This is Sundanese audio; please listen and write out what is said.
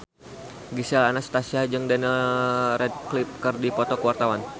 Gisel Anastasia jeung Daniel Radcliffe keur dipoto ku wartawan